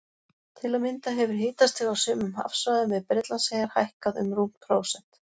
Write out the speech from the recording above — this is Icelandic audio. Til að mynda hefur hitastig á sumum hafsvæðum við Bretlandseyjar hækkað um rúmt prósent.